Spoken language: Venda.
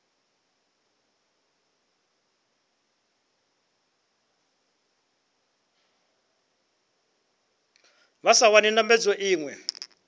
vha sa wani ndambedzo iṅwe